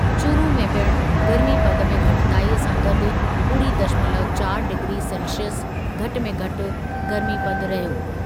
चूरू में पिण गर्मीपदु में घटिताई सां गॾु ॿुड़ी दशमलव चारि डिग्री सेल्सिअस घटि में घटि गर्मीपदु रहियो।